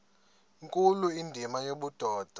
nkulu indima yobudoda